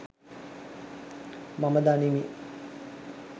මම දනිමි.